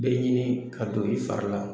Bɛɛ ɲini ka don i fari la